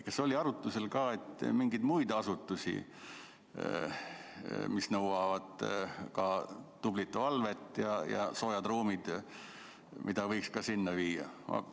Kas oli arutlusel ka, et mingeid muid asutusi, mis nõuavad ka korralikku valvet ja sooje ruume, võiks sinna viia?